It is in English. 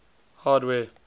hardware